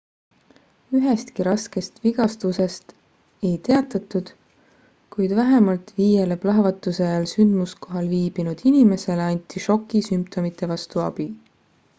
ühestki raskest vigastusest ei teatatud kuid vähemalt viiele plahvatuse ajal sündmuskohal viibinud inimesele anti šoki sümptomite vastu abi